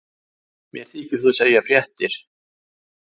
Mér þykir þú segja fréttirnar!